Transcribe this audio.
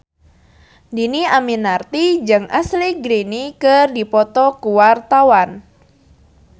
Dhini Aminarti jeung Ashley Greene keur dipoto ku wartawan